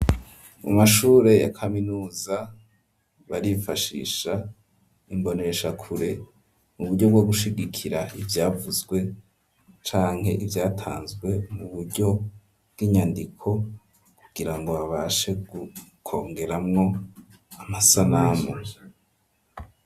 Mu mashure ya kaminuza, barifashisha imboneshakure mu buryo bwo gushigikira ivyavuzwe, canke ivyatanzwe mu buryo bw'inyandiko, kugira ngo babashe kwongeramwo amasanamu.